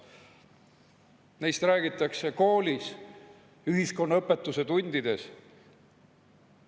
Neist räägitakse koolis ühiskonnaõpetuse tundides.